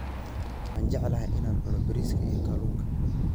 Waxaan jeclahay in aan cuno bariiska iyo kalluunka